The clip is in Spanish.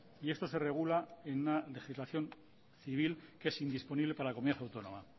y esto se regula en una legislación civil que es indisponible para la comunidad autónoma